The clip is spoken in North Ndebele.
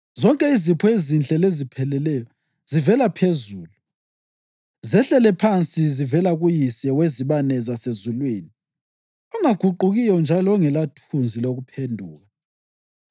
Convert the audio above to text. Zonke izipho ezinhle lezipheleleyo zivela phezulu, zehlele phansi zivela kuYise wezibane zasezulwini, ongaguqukiyo njalo ongelathunzi lokuphenduka.